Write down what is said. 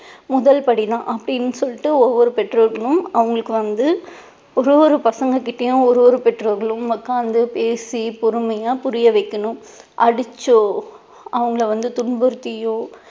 முதல் படி தான் அப்படின்னு சொல்லிட்டு ஒவ்வொரு பெற்றோர்களும் அவங்களுக்கு வந்து ஒரு ஒரு பசங்க கிட்டேயும் ஒரு ஒரு பெற்றோர்களும் உட்கார்ந்து பேசி பொறுமையா புரிய வைக்கணும் அடிச்சோ அவங்களை வந்து துன்புறுத்தியோ